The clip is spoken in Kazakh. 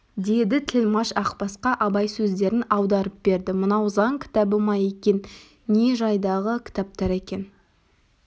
деді тілмәш ақбасқа абай сөздерін аударып берді мынау заң кітабы ма екен не жайдағы кітаптар екен